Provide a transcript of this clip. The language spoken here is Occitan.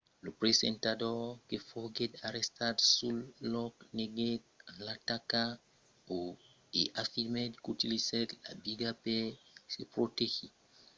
lo presentador que foguèt arrestat sul lòc neguèt l'ataca e afirmèt qu'utilizèt la biga per se protegir de las botelhas que li èran lançadas per fins a trenta personas